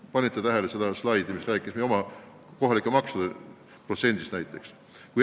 Kas panite tähele seda slaidi, kus oli näha meie kohalike maksude protsent?